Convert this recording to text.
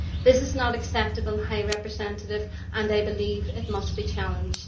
This is not acceptable, High Representative, and I believe it must be challenged.